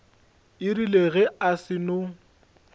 e rile ge a seno